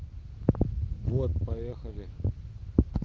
вот поехали